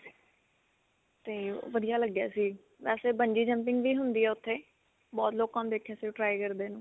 ਤੇ ਓਹ ਵਧੀਆ ਲੱਗਿਆ ਸੀ. ਵੈਸੇ bungee jumping ਵੀ ਹੁੰਦੀ ਹੈ ਓੱਥੇ ਬਹੁਤ ਲੋਕਾਂ ਨੂੰ ਦੇਖਿਆ ਸੀ. ਉਹ try ਕਰਦੇ ਨੂੰ.